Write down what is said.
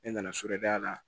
Ne nana a la